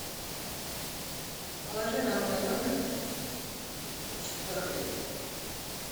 положи на мой номер сто рублей